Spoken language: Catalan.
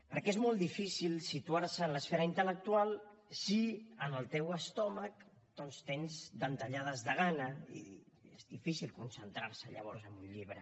perquè és molt difícil situar se en l’esfera intel·lectual si en el teu estómac doncs tens dentegades de gana és difícil concentrar se llavors en un llibre